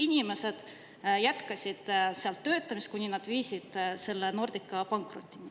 Inimesed jätkasid seal töötamist, kuni nad viisid Nordica pankrotti.